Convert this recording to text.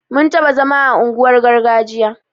Mun taɓa zama a unguwar gargajiya